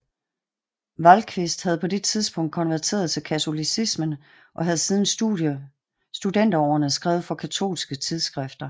Vallquist havde på det tidspunkt konverteret til katolicismen og havde siden studenterårene skrevet for katolske tidsskrifter